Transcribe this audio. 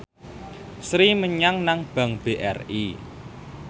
Sri nyelengi nang bank BRI